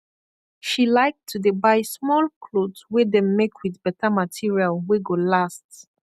she laik to dey buy smoll kloth wey dem make wit beta material wey go last